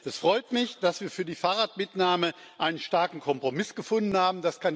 Es freut mich, dass wir für die Fahrradmitnahme einen starken Kompromiss gefunden haben.